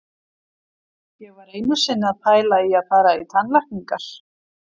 Ég var einu sinni að pæla í að fara í tannlækningar.